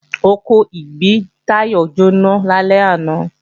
Oko ìgbín Táyọ̀ jóná lálẹ́ àná